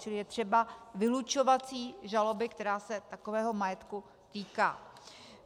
Čili je třeba vylučovací žaloby, která se takového majetku týká.